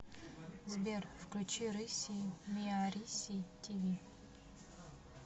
сбер включи рыссий миариссий ти ви